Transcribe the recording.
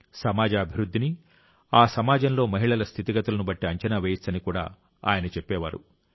సమాజ అభివృద్ధిని ఆ సమాజంలో మహిళల స్థితిగతులను బట్టి అంచనా వేయవచ్చని కూడా ఆయన చెప్పేవారు